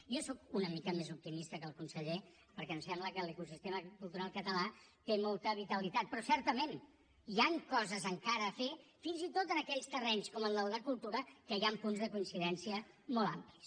jo sóc una mica més optimista que el conseller perquè em sembla que l’ecosistema cultural català té molta vitalitat però certament hi han coses encara a fer fins i tot en aquells terrenys com en el de cultura en què hi han punts de coincidència molt amplis